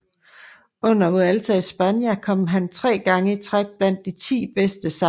Under Vuelta a España kom han tre gange i træk blandt de ti bedste sammenlagt